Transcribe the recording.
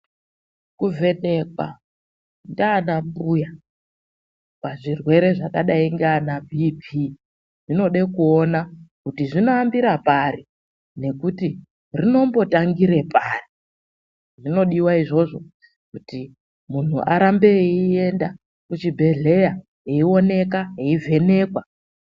Kuvhenekwa ndiana mbuya pazvirwere zvakadai ndiana BP zvinode kuona kuti zvinoambira pari nekuti rinombotangire pari. Zvinodiwa izvozvo kuti munhu arambe eienda kuchibhedhlera eioneka, eivhenekwa.